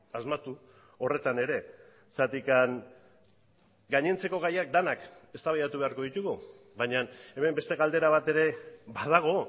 asmatu horretan ere zergatik gainontzeko gaiak denak eztabaidatu beharko ditugu baina hemen beste galdera bat ere badago